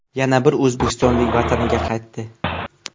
Yana bir o‘zbekistonlik vataniga qaytdi.